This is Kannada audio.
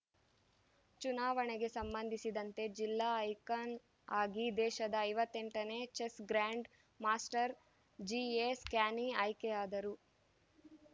ಚುನಾವಣೆಗೆ ಸಂಬಂಧಿಸಿದಂತೆ ಜಿಲ್ಲಾ ಐಕಾನ್‌ ಆಗಿ ದೇಶದ ಐವತ್ತೆಂಟನೇ chess grand master GA Stany ಆಯ್ಕೆಯಾದರು